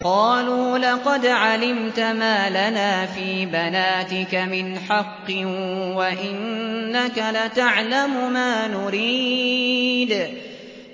قَالُوا لَقَدْ عَلِمْتَ مَا لَنَا فِي بَنَاتِكَ مِنْ حَقٍّ وَإِنَّكَ لَتَعْلَمُ مَا نُرِيدُ